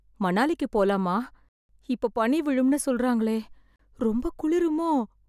மணாலிக்கு போலாமா? இப்ப பனி விழுமின்னு சொல்றாங்களே.... ரொம்ப குளிருமோ?